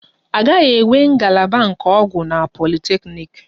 A gaghị enwe ngalaba nke ọgwụ na politeknik